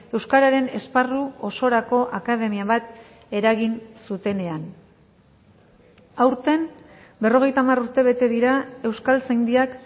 euskararen esparru osorako akademia bat eragin zutenean aurten berrogeita hamar urte bete dira euskaltzaindiak